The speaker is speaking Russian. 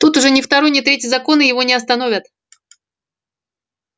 тут уже ни второй ни третий законы его не остановят